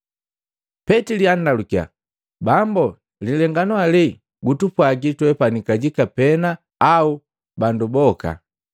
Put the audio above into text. Petili andalukia, “Bambo lilenganu alee gutupwaji twepani kajika pena au bandu boka?”